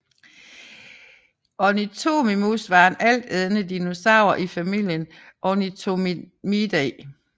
Ornithomimus var en altædende dinosaur i familien Ornithomimidae